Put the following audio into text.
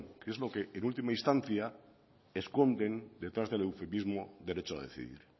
que es lo que en última instancia esconden detrás del eufemismo derecho a decidir